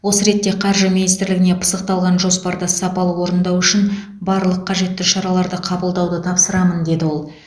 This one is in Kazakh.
осы ретте қаржы министрлігіне пысықталған жоспарды сапалы орындау үшін барлық қажетті шараларды қабылдауды тапсырамын деді ол